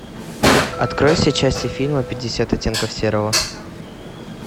открой все части фильма пятьдесят оттенков серого